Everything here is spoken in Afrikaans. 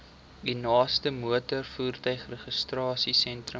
u naaste motorvoertuigregistrasiesentrum